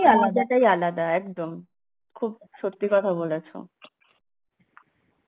আলাদা একদম, খুব সত্যি কথা বলেছো